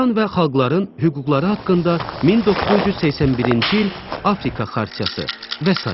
İnsan və xalqların hüquqları haqqında 1981-ci il Afrika xartiyası və sair.